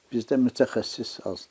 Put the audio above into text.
Bizdə mütəxəssis azdır.